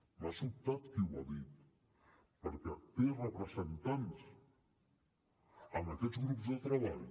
m’ha sobtat qui ho ha dit perquè té representants en aquests grups de treball